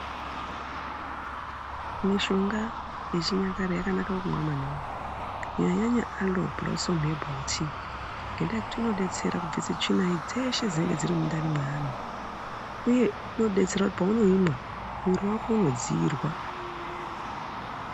Mishonga yechinyakare yakanaka kumwa maningi kunyanyanyanya aloe blossom herbal tea ngenyaya yekuti inodetsera kubvusa tsvina dzese Dzinenge dziri mundani mevanhu uye unodetsera paunomumwa mwiri wako unodziirwa.